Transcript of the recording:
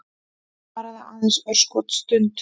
Varaði aðeins örskotsstund.